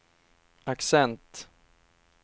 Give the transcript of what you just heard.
accent